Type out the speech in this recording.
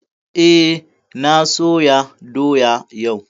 Eh, na soya doya yau